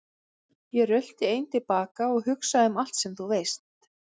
Ég rölti einn til baka og hugsa um allt sem þú veist.